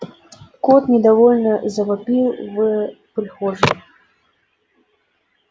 кот недовольно завопил в прихожей